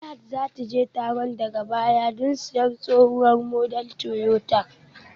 Zulaihat za ta je taron daga baya don siyan tsohuwar model Toyota